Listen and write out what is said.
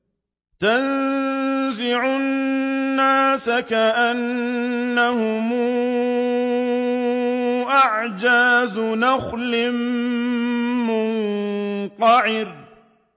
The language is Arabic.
تَنزِعُ النَّاسَ كَأَنَّهُمْ أَعْجَازُ نَخْلٍ مُّنقَعِرٍ